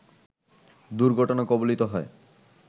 দুর্ঘটনা কবলিত হয়